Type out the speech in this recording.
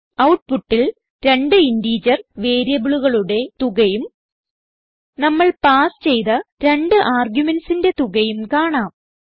ഔട്ട്പുട്ടിൽ രണ്ട് ഇന്റിജർ വേരിയബിളുകളുടെ തുകയും നമ്മൾ പാസ് ചെയ്ത രണ്ട് argumentsന്റെ തുകയും കാണാം